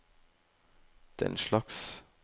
denslags